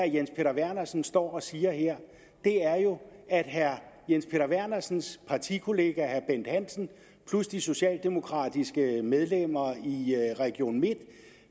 jens peter vernersen står og siger her er jo at herre jens peter vernersens partikollega herre bent hansen plus de socialdemokratiske medlemmer i region midtjylland